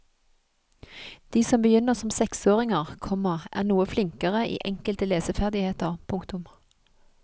De som begynner som seksåringer, komma er noe flinkere i enkelte leseferdigheter. punktum